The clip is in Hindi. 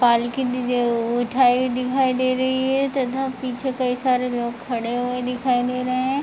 पालकी उठाई दिखाई दे रही है तथा पीछे कई सारे लोग खड़े हुए दिखाई दे रहे हैं।